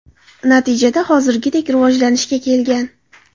Natijada hozirgidek rivojlanishga kelgan.